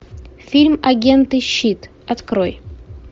фильм агенты щит открой